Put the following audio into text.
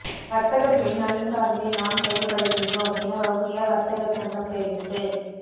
வர்த்தகர்களின் நலன்சார்ந்தே நாம் செயற்படுகின்றோம் என வவுனியா வர்த்தகர் சங்கம் தெரிவிப்பு